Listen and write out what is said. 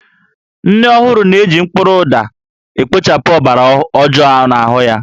Nne ọhụrụ na-eji mkpụrụ ụda ekpochapụ ọbara ọjoo n'ahụ ya